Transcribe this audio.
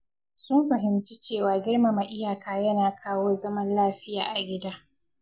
Sun fahimci cewa girmama iyaka yana kawo zaman lafiya a gida.